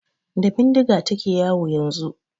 Da bindiga ta ke yawo yanzu.